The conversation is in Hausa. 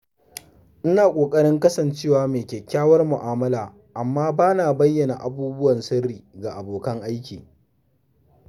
Ina ƙoƙarin kasancewa mai kyakkyawar mu’amala amma bana bayyana abubuwan sirri ga abokan aiki.